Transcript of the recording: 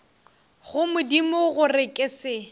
go modimo gore ke se